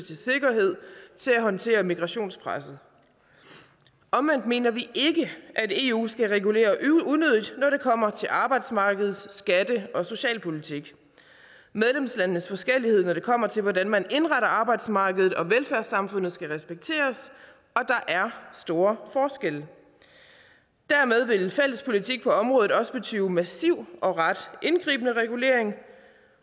og til at håndtere migrationspresset omvendt mener vi ikke at eu skal regulere unødigt når det kommer til arbejdsmarkeds skatte og socialpolitik medlemslandenes forskellighed når det kommer til hvordan man indretter arbejdsmarkedet og velfærdssamfundet skal respekteres og der er store forskelle dermed vil en fælles politik på området også betyde massiv og ret indgribende regulering